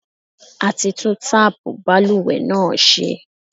A ti tún táàpù balùwẹ̀ náà ṣe.